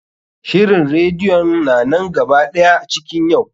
Shirin radeyon na nan gaba ɗaya cikin yau.